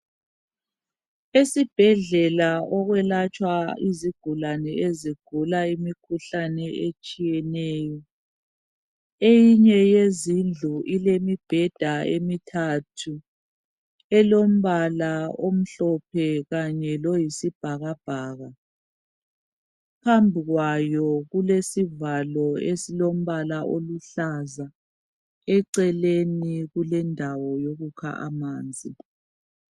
Esibhedlela okulatshwa khona izigulane ezigula imikhuhlane etshiyeneyo eyinye yezindlu ilembheda emithathu elombala omhlophe kanye loyisibhakabhaka phambi kwayo kulesivalo esilombala oluhlaza eceleni kulendawo yokukha amanzi